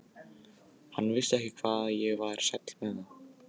Hann vissi ekki hvað ég var sæll með það.